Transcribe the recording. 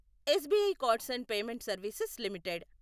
SBI cards and payment services limited